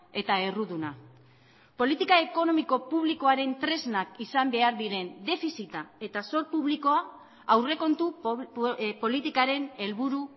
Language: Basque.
eta erruduna politika ekonomiko publikoaren tresnak izan behar diren defizita eta zor publikoa aurrekontu politikaren helburu